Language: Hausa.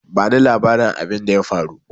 Ba ni labarin abinda ya faru!